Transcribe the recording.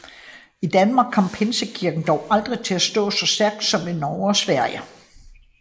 I Danmark kom Pinsekirken dog aldrig til at stå så stærkt som i Norge og Sverige